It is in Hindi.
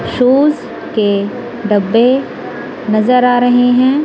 शूज के डब्बे नजर आ रहे है।